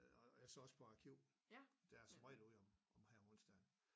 Og jeg står også på arkiv der er jeg som regel ude om om her om onsdagen